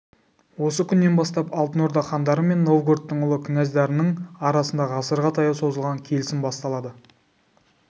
осы күннен бастап алтын орда хандары мен новгородтың ұлы князьдарының арасында ғасырға таяу созылған келісім басталады